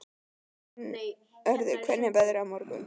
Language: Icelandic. Gunnröður, hvernig er veðrið á morgun?